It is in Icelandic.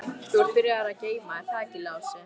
Þú ert byrjaður að geyma, er það ekki Lási?